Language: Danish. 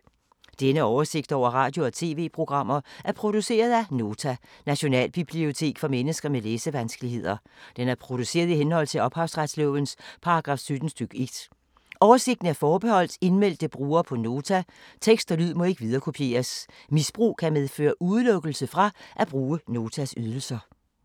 Denne oversigt over radio og TV-programmer er produceret af Nota, Nationalbibliotek for mennesker med læsevanskeligheder. Den er produceret i henhold til ophavsretslovens paragraf 17 stk. 1. Oversigten er forbeholdt indmeldte brugere på Nota. Tekst og lyd må ikke viderekopieres. Misbrug kan medføre udelukkelse fra at bruge Notas ydelser.